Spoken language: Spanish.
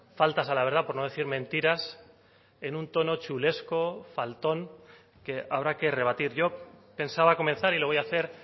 faltas a la verdad por no decir mentiras en un tono chulesco faltón que habrá que rebatir yo pensaba comenzar y lo voy a hacer